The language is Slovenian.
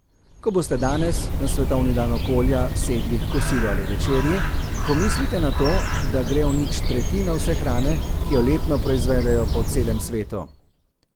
Ko boste danes, na svetovni dan okolja, sedli h kosilu ali večerji, pomislite na to, da gre v nič tretjina vse hrane, ki jo letno proizvedejo po celem svetu.